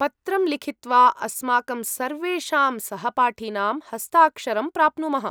पत्रं लिखित्वा अस्माकं सर्वेषां सहपाठिनां हस्ताक्षरं प्राप्नुमः।